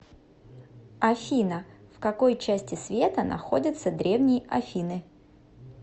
афина в какой части света находится древние афины